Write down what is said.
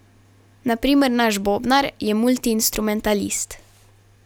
Na primer naš bobnar je multiinstrumentalist.